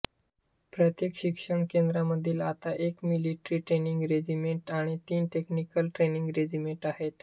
प्रत्येक प्रशिक्षण केंद्रामध्ये आता एक मिलिटरी ट्रेनिंग रेजिमेंट आणि तीन टेक्निकल ट्रेनिंग रेजिमेंट आहेत